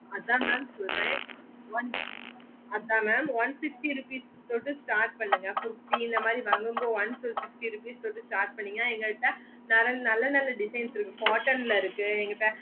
அதன் mam சொல்லறேன் one அதன் mam one sixty rupees ஓட start பண்ணுங்க kurti இந்த மாதிரி வாங்க மோடு one sixty rupees கு start பன்னிங்கன்னா எங்ககிட்ட நல்ல நல்ல designs இருக்கு cotton ல இருக்கு